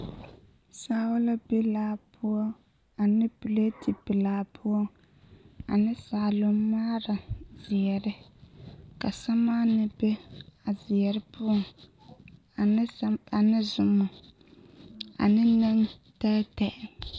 Saao la be laa poɔ ane piletipelaa poɔ ane saalommaara zeɛre ka sɛmaanee be a zeɛre poɔŋ ane sem ane zoma ane nentɛɛtɛɛ.